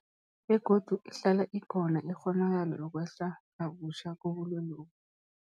Begodu ihlala ikhona ikghonakalo yokwehla kabutjha kobulwelobu.